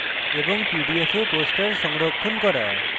PDF এ poster সংরক্ষণ করা